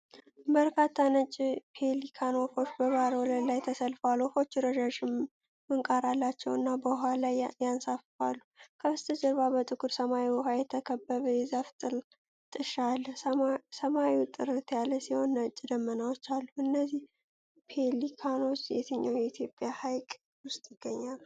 በርካታ ነጭ ፔሊካን ወፎች በባህር ወለል ላይ ተሰልፈዋል። ወፎቹ ረዣዥም ምንቃር አላቸው እና በውሃው ላይ ይንሳፈፋሉ። ከበስተጀርባ በጥቁር ሰማያዊ ውሃ የተከበበ የዛፍ ጥሻ አለ። ሰማዩ ጥርት ያለ ሲሆን ነጭ ደመናዎች አሉ። እነዚህ ፔሊካኖች የትኛው የኢትዮጵያ ሐይቅ ውስጥ ይገኛሉ?